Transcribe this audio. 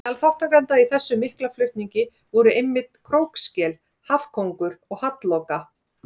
Meðal þátttakenda í þessum mikla flutningi voru einmitt krókskel, hafkóngur og hallloka.